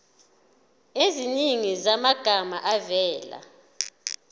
eziningi zamagama avela